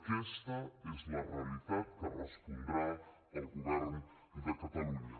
aquesta és la realitat en què respondrà el govern de catalunya